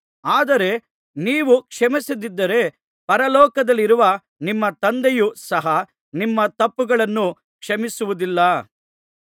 ಆದರೆ ನೀವು ಕ್ಷಮಿಸದಿದ್ದರೆ ಪರಲೋಕದಲ್ಲಿರುವ ನಿಮ್ಮ ತಂದೆಯು ಸಹ ನಿಮ್ಮ ತಪ್ಪುಗಳನ್ನು ಕ್ಷಮಿಸುವುದಿಲ್ಲ